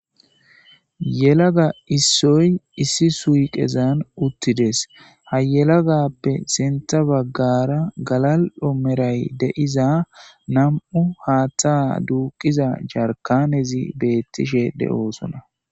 yelaga issoy issi suyqezan uttides hayelagappe sintha baggara galal7omeray deiza nam7u haaththa duuqiza jarkanezi beettishe de7oosona